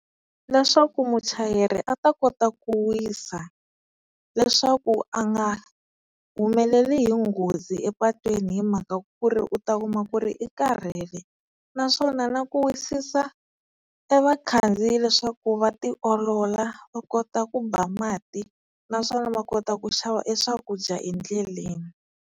Leswaku muchayeri a ta kota ku wisa, leswaku a nga humeleli hi nghozi epatwini hi mhaka ku ri u ta kuma ku ri i karhele. Naswona na ku wisisa e vakhandziyi leswaku va tiolola va kota ku ba mati naswona va kota ku xava e swakudya endleleni.